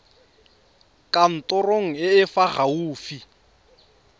kantorong e e fa gaufi